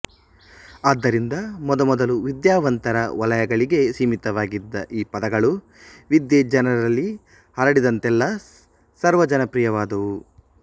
ಆದ್ದರಿಂದ ಮೊದಮೊದಲು ವಿದ್ಯಾವಂತರ ವಲಯಗಳಿಗೆ ಸೀಮಿತವಾಗಿದ್ದ ಈ ಪದಗಳು ವಿದ್ಯೆ ಜನರಲ್ಲಿ ಹರಡಿದಂತೆಲ್ಲ ಸರ್ವಜನಪ್ರಿಯವಾದವು